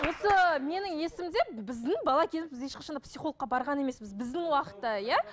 осы менің есімде біздің бала кезімізде ешқашанда психологқа барған емеспіз біздің уақытта иә